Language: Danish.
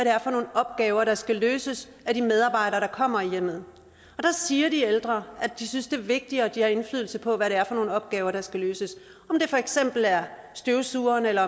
er for nogle opgaver der skal løses af de medarbejdere der kommer i hjemmet der siger de ældre at de synes det er vigtigere at de har indflydelse på hvad det er for nogle opgaver der skal løses om det for eksempel er støvsugning eller